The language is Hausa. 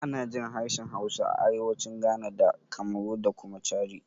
Ana jin harshen Hausa a arewacin Ghana da Kamaru da kuma Chadi.